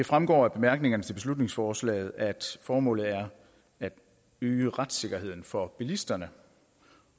fremgår af bemærkningerne til beslutningsforslaget at formålet er at øge retssikkerheden for bilisterne